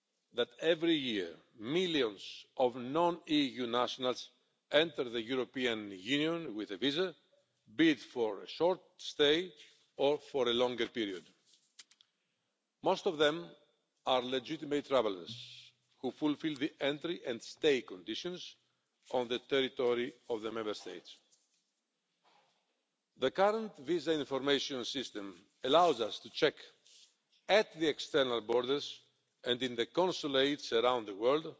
that every year, millions of non EU nationals enter the European Union with a visa, be it for a short stay or for a longer period. Most of them are legitimate travellers who fulfil the entry and stay conditions on the territory of the Member States. The current Visa Information System allows us to check at the external borders, and in the consulates around the world,